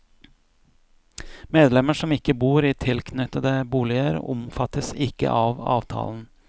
Medlemmer som ikke bor i tilknyttede boliger omfattes ikke av avtalen.